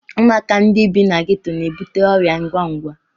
Ụmụaka ndị bi na geto na-ebute ọrịa ngwa ngwa.